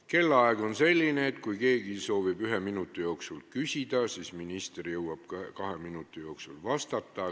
Kellaaeg on selline, et kui keegi soovib ühe minuti jooksul küsida, siis minister jõuab kahe minuti jooksul vastata.